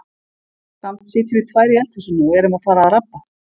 Samt sitjum við tvær í eldhúsinu og erum að fara að rabba.